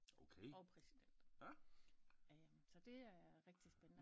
Og præsident så det er rigtig spændende